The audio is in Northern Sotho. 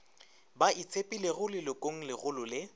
ba itshepilego lelokong legolo le